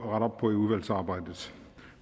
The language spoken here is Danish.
op på i udvalgsarbejdet